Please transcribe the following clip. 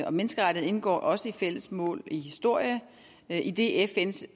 og menneskerettigheder indgår også i fælles mål i historie idet fns